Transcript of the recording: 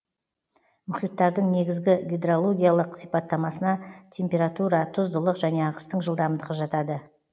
мұхиттардың негізгі гидрологиялық сипаттамасына температура тұздылық және ағыстың жылдамдығы жатады